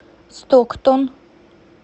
стоктон